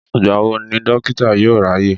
Ìgbà wo ni Dókítà yóò ráyè?